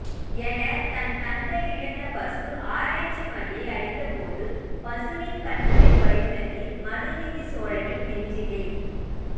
என தன் கன்றை இழந்த பசு ஆராய்ச்சி மணியை அடித்தபோது பசுவின் கண்களில் வழிந்த நீர் மனுநீதி சோழனின் நெஞ்சிலே